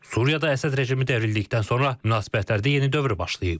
Suriyada Əsəd rejimi devrildikdən sonra münasibətlərdə yeni dövr başlayıb.